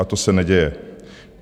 A to se neděje.